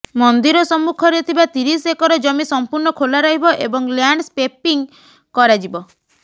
ମନ୍ଦିର ସମ୍ମୁଖରେ ଥିବା ତିରିଶ ଏକର ଜମି ସମ୍ପୂର୍ଣ୍ଣ ଖୋଲା ରହିବ ଏବଂ ଲ୍ୟାଣ୍ଡସ୍ପେପିଂ କରାଯିବ